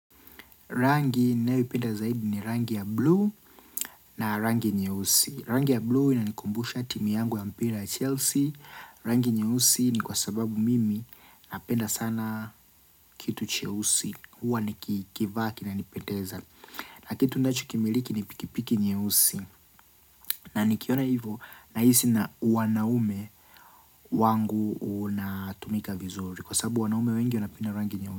Rangi ninayoipenda zaidi ni rangi ya bluu na rangi nyeusi. Rangi ya bluu ina nikumbusha timu yangu ya mpira ya Chelsea. Rangi nyeusi ni kwa sababu mimi napenda sana kitu cheusi. Huwa nikivaa kina nipendeza. Na kitu ninacho kimiliki ni pikipiki nyeusi. Na nikiona hivo na hisi na uwanaume wangu unatumika vizuri. Kwa sababu wanaume wengi wanapenda rangi nyeusi.